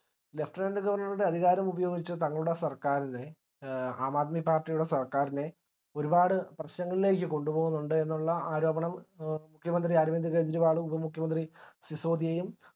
lieutenant colonel ഗവർണറുടെ അധികാരമുപയോഗിച് തങ്ങളുടെ സർക്കാരിനെ എ ആം ആദ്മി party യുടെ സർക്കാരിനെ ഒരുപാട് പ്രശ്നങ്ങളിലേക് കൊണ്ടുപോകുന്നുണ്ട് എന്നുള്ള ആരോപണം മുഖ്യമന്ത്രി അരവിന്ദ് കേജരിവാളും ഉപ മുഖ്യ മന്ത്രി സിസോദിയും